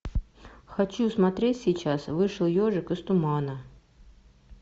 хочу смотреть сейчас вышел ежик из тумана